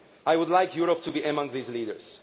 I would like Europe to be among these leaders.